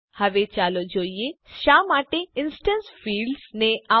હવે ચાલો જોઈએ કે શા માટે ઇન્સ્ટેન્સ ફિલ્ડ્સ ને આવું બોલાવાય છે